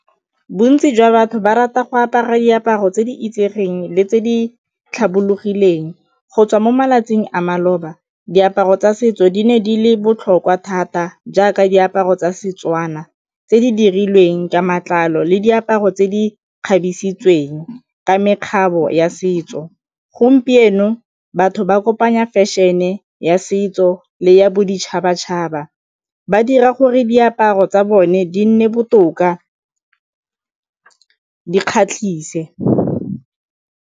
Bontsi jwa batho ba rata go apara diaparo tse di itsegeng le tse di tlhabologileng. Go tswa mo malatsing a maloba diaparo tsa setso di ne di le botlhokwa thata jaaka diaparo tsa Setswana tse di dirilweng ka matlalo le diaparo tse di kgabisitsweng ka mekgabiso ya setso, gompieno batho ba kopanya fashion-e ya setso le ya boditšhabatšhaba, ba dira gore diaparo tsa bone di nne botoka, di kgatlhise.